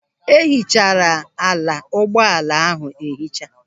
E hichara ala ụgbọala ahụ ehicha.